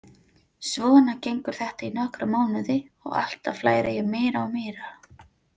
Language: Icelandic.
Svona gengur þetta í nokkra mánuði og alltaf læri ég meira og meira.